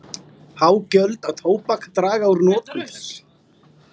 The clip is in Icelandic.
Há gjöld á tóbak draga úr notkun þess.